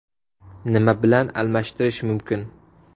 Nima bilan almashtirish mumkin?